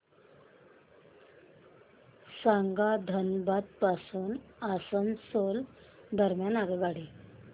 सांगा धनबाद पासून आसनसोल दरम्यान आगगाडी